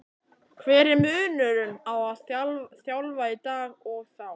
Hver er munurinn á að þjálfa í dag og þá?